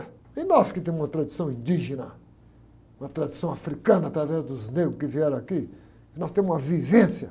E nós que temos uma tradição indígena, uma tradição africana através dos negros que vieram aqui, nós temos uma vivência.